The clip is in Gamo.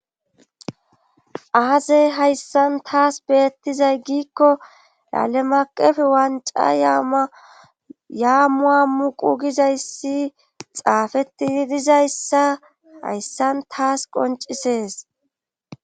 Aaze hayssan tas beettizay giikko yalemaaqefe wancca yama yammu hammuqu gizayssi xaafettidi dizayssa hayssan tas qonccisees.